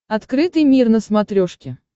открытый мир на смотрешке